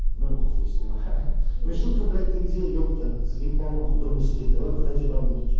ну и хуй с ним мишутка блять ты где епта ты заебал нахуй дома сидеть давай выходи работать